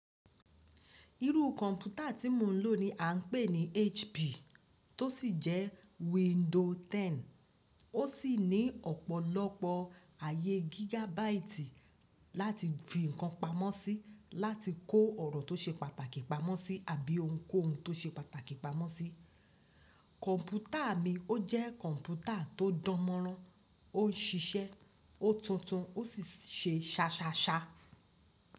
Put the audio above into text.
Irú kọ̀mpútà tí mò ń lò ní à ń pè ní HP tó sì jẹ́ window 10. Ó sì ní ọ̀pọ̀lọpọ̀ ayé gigabyte láti fi ǹkan pamọ́ sí, láti kó ọ̀rọ̀ tó ṣe pàtàkì pamọ́ sí àbí ohunkóhun tó ṣe pàtàkì pamọ́ sí. Kọ̀mpútà mi ó jẹ́ kọ̀mpútà tó dánmọ́rán, ó ń ṣiṣẹ́, ó tuntun, ó sì ń ṣe ṣaṣaṣa.